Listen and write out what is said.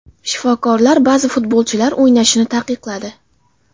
Shifokorlar ba’zi futbolchilar o‘ynashini taqiqladi.